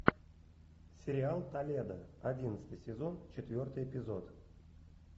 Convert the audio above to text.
сериал толедо одиннадцатый сезон четвертый эпизод